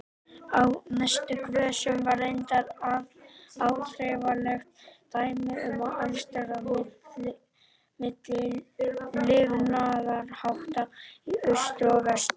Á næstu grösum var reyndar áþreifanlegt dæmi um andstæðurnar milli lifnaðarhátta í austri og vestri.